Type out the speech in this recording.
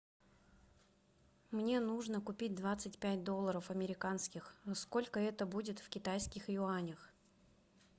мне нужно купить двадцать пять долларов американских сколько это будет в китайских юанях